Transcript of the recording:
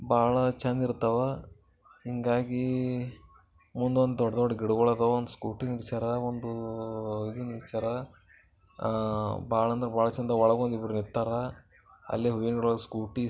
ಬಾಳ್ ಚಂದಿರ್ತಾವ ಹಿಂಗಾಗಿ ಮುಂದೊಂದು ಗಿಡಗಳ್ ಅದಾವ ಒಂದು ಸ್ಕೂಟಿ ನಿಲ್ಸರ ಒಂದು ಇದು ನಿಲ್ಸರ ಹಾ ಬಾಳ್ ಅಂದ್ರೆ ಬಾಳ್ ಚಂದ ಒಳಗೊಬ್ರು ನಿಂತರ ಅಲ್ಲಿ ವಿವೋ ಸ್ಕೂಟಿ --